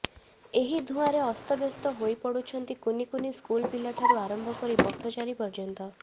ଏହି ଧୂଆଁରେ ଅସ୍ତବ୍ୟସ୍ତ ହୋଇପଡୁଛନ୍ତି କୁନି କୁନି ସ୍କୁଲ ପିଲାଠାରୁ ଆରମ୍ଭ କରି ପଥଚାରୀ ପର୍ଯ୍ୟନ୍ତ